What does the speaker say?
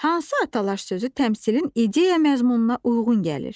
Hansı atalar sözü təmsilin ideya məzmununa uyğun gəlir?